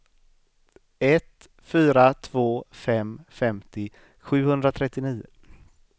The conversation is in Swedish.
ett fyra två fem femtio sjuhundratrettionio